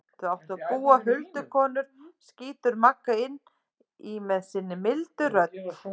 Þar áttu að búa huldukonur, skýtur Magga inn í með sinni mildu rödd.